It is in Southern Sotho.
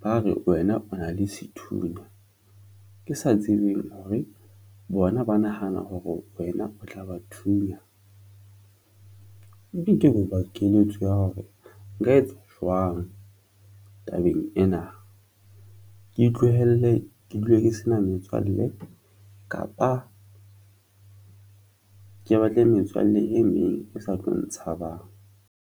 ba re wena o na le sethunya, ke sa tsebeng hore bona ba nahana hore wena o tla ba thunya ya hore nka etsa jwang tabeng ena. Ke utlwelle ke dule ke sena metswalle kapa ke batle metswalle e meng e sa tlo ntshabang.